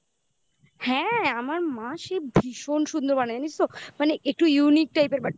হ্যাঁ আমার মা সেই ভীষণ সুন্দর বানায় নিস তো মানে একটু unique টাইপের but